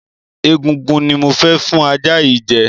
Egungun ni mo fẹ́ fún ajá yìí jẹ.